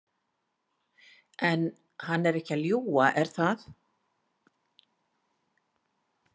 En hann er ekki að ljúga, er það?